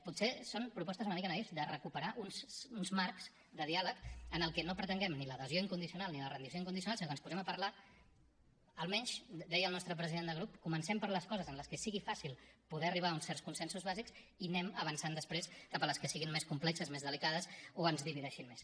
potser són propostes una mica naïfs de recuperar uns marcs de diàleg en els que no pretenguem ni l’adhesió incondicional ni la rendició incondicional sinó que ens posem a parlar almenys deia el nostre president de grup comencem per les coses en les que sigui fàcil poder arribar a uns certs consensos bàsics i anem avançant després cap a les que siguin més complexes més delicades o ens divideixin més